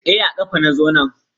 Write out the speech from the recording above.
E a kafa na zo nan.